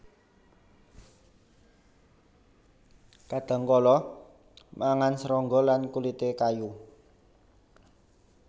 Kadhangkala mangan serangga lan kulité kayu